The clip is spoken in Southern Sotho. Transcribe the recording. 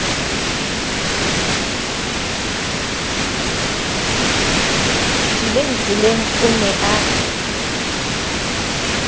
tswileng tseleng o ne a